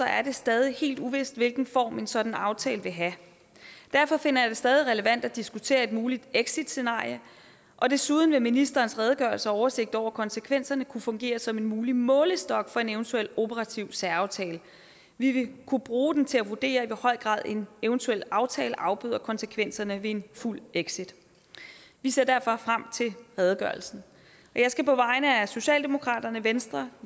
er det stadig helt uvist hvilken form en sådan aftale vil have derfor finder jeg det stadig relevant at diskutere et muligt exitscenarie og desuden vil ministerens redegørelse og oversigt over konsekvenserne kunne fungere som en mulig målestok for en eventuel operativ særaftale vi vil kunne bruge den til at vurdere i hvor høj grad en eventuel aftale afbøder konsekvenserne ved en fuld exit vi ser derfor frem til redegørelsen jeg skal på vegne af socialdemokratiet venstre